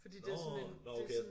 Nårh nåh okay